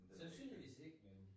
Men den er jo ikke